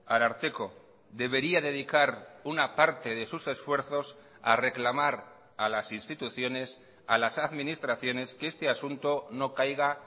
ararteko debería dedicar una parte de sus esfuerzos a reclamar a las instituciones a las administraciones que este asunto no caiga